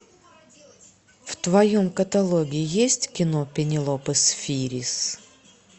в твоем каталоге есть кино пенелопы сфирис